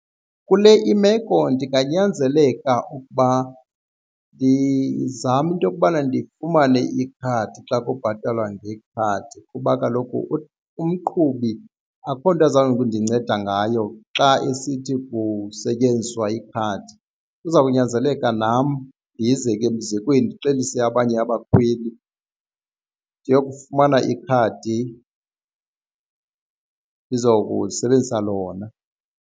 Kule imeko ndinganyanzeleka ukuba ndizame into okubana ndifumane ikhadi xa kubhatalwa ngekhadi kuba kaloku umqhubi akukho nto azawukundinceda ngayo xa esithi kusetyenziswa ikhadi. Kuza kunyanzeleka nam ndizeke mzekweni ndixelise abanye abakhweli ndiyokufumana ikhadi ndizokusebenzisa lona.